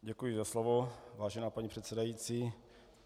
Děkuji za slovo, vážená paní předsedající.